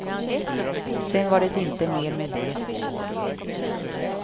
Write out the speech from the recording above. Sen var det inte mer med det.